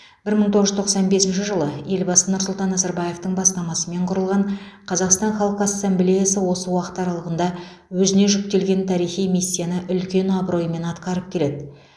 бір мың тоғыз жүз тоқсан бесінші жылы елбасы нұрсұлтан назарбаевтың бастамасымен құрылған қазақстан халқы ассамблеясы осы уақыт аралығында өзіне жүктелген тарихи миссияны үлкен абыроймен атқарып келеді